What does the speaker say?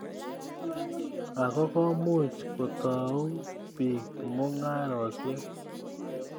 Akoi komuch kotou piik mung'aresyek